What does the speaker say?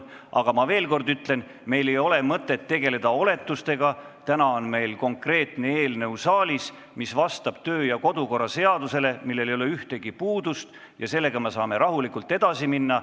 Aga ma veel kord ütlen, et meil ei ole mõtet tegeleda oletustega, täna on saalis konkreetne eelnõu, mis vastab kodu- ja töökorra seadusele, sellel ei ole ühtegi puudust ja me saame sellega rahulikult edasi minna.